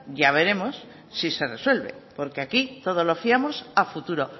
ya veremos si se resuelve porque aquí todo lo fiamos a futuro